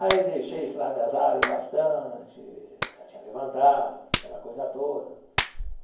Aí deixei extravasarem bastante, já tinha levantado, aquela coisa toda.